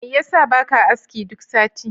Mai yasa baka aski duk sati?